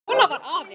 Svona var afi.